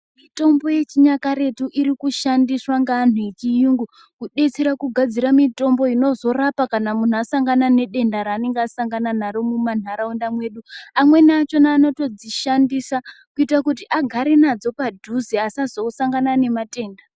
Mitombo yechinyakaretu irikushandiswa ngeanhu echiyungu kudetsera kugadzira mitombo inozorapa kana munhu asangana nedenda ranenge asangana naro mumanharaunda mwedu. Amweni achona anotodzishandisa kuita kuti agare nadzo padhuze asazosangana nematenda.